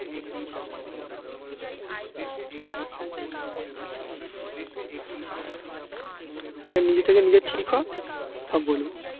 আগে নিজে থেকে নিজে ঠিক হ সব বলবো.